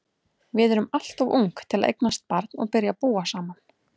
Við erum alltof ung til að eignast barn og byrja að búa saman.